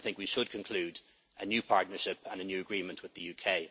as well. We should conclude a new partnership and a new agreement